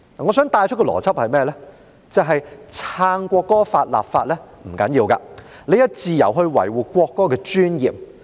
便是支持就國歌立法不要緊，你有自由維護國歌的尊嚴。